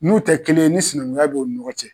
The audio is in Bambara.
N'u tɛ kelen ye ni sinankunya bɛ o ni ɲɔgɔn cɛ.